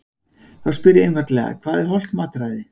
Því spyr ég einfaldlega: Hvað er hollt mataræði?